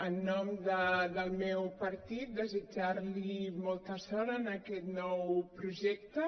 en nom del meu partit desitjar li molta sort en aquest nou projecte